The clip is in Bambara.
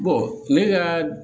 ne ka